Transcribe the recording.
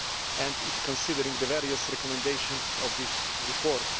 and is considering the various recommendations of this report.